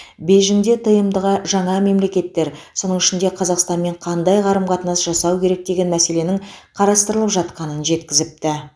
бейжіңде тмд ға жаңа мемлекеттер соның ішінде қазақстанмен қандай қарым қатынас жасау керек деген мәселенің қарастырылып жатқанын жеткізіпті